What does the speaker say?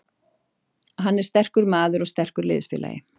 Hann er sterkur maður og sterkur liðsfélagi.